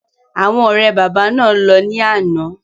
Àwọn ọ̀rẹ́ bàbá náà lọ ní àná.